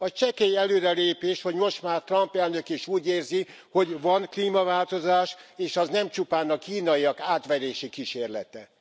Az csekély előrelépés, hogy most már Trump elnök is úgy érzi, hogy van klímaváltozás, és az nem csupán a kínaiak átverési kísérlete.